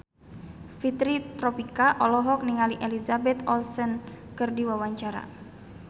Fitri Tropika olohok ningali Elizabeth Olsen keur diwawancara